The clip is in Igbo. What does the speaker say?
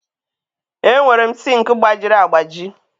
Enwere m sink gbajiri agbaji.